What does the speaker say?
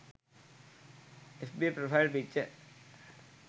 fb profile picture